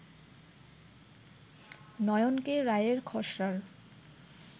নয়নকে রায়ের খসড়ার